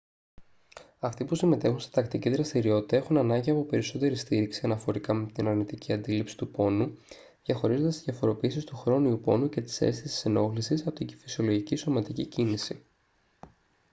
αυτοί που συμμετέχουν σε τακτική δραστηριότητα έχουν ανάγκη από περισσότερη στήριξη αναφορικά με την αρνητική αντίληψη του πόνου διαχωρίζοντας τις διαφοροποιήσεις του χρόνιου πόνου και της αίσθησης ενόχλησης από την φυσιολογική σωματική κίνηση